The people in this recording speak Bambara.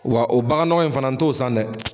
Wa o bagan nɔgɔ in fana n'to san dɛ.